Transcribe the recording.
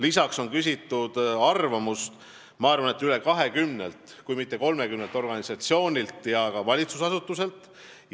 Lisaks on küsitud arvamust rohkem kui 20-lt, kui mitte 30 organisatsioonilt ja valitsusasutuselt.